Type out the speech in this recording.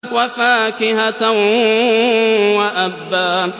وَفَاكِهَةً وَأَبًّا